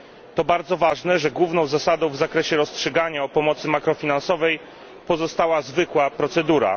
To bardzo ważne, że główną zasadą w zakresie rozstrzygania o pomocy makrofinansowej pozostała zwykła procedura.